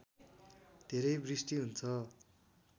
धेरै वृष्टि हुन्छ